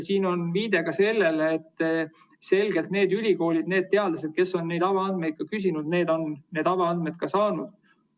Siin on viide ka sellele, et need ülikoolid ja teadlased, kes on neid avaandmeid küsinud, on neid saanud.